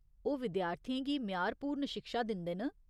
ओह् विद्यार्थियें गी म्यारपूर्ण शिक्षा दिंदे न।